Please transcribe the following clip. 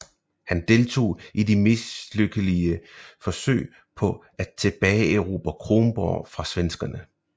Han deltog i det mislykkelige forsøg på at tilbageerobre Kronborg fra svenskerne